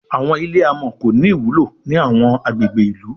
Àwọn ilé amò kò ní ìwúlò ní àwọn agbègbè ilú